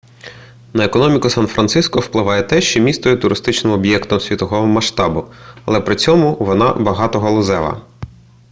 на економіку сан-франциско впливає те що місто є туристичним об'єктом світового масштабу але при цьому вона багатогалузева